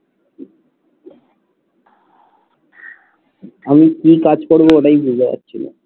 আমি কি কাজ করবো ওটাই বুঝতে পারছি না